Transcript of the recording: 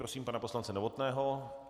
Prosím pana poslance Novotného.